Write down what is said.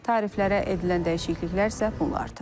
Tariflərə edilən dəyişikliklər isə bunlardır.